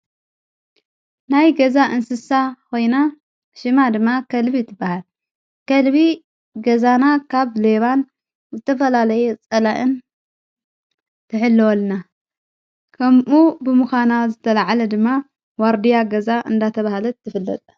ናይ ገዛ እንስሳ ኾይና ሽማ ድማ ከልቢ ትበሃል። ከልቢ ገዛና ካብ ሌባን ዝተፈላለየ ጸላእን ትሕልወልና፤ ከምኡ ብምዃና ዝተልዓለ ድማ ዋርድያ ገዛ እንዳተብሃለት ትፍለጥ።